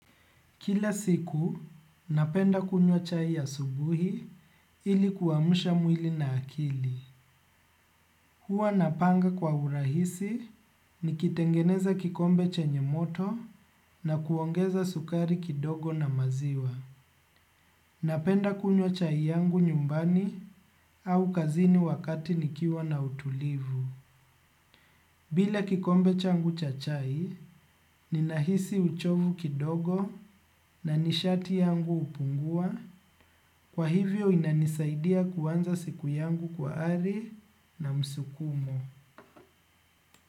Kila siku, napenda kunywa chai ya asubuhi ili kuamsha mwili na akili. Huwa napanga kwa urahisi nikitengeneza kikombe chenye moto na kuongeza sukari kidogo na maziwa. Napenda kunywa chai yangu nyumbani au kazini wakati nikiwa na utulivu. Bila kikombe changu cha chai, ninahisi uchovu kidogo na ni sharti yangu hupungua, kwa hivyo inanisaidia kuanza siku yangu kwa ari na msukumo.